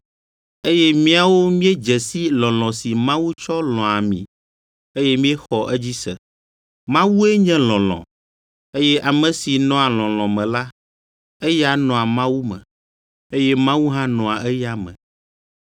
Eye míawo míedze si lɔlɔ̃ si Mawu tsɔ lɔ̃a mi, eye míexɔ edzi se. Mawue nye lɔlɔ̃, eye ame si nɔa lɔlɔ̃ me la, eya nɔa Mawu me, eye Mawu hã nɔa eya me.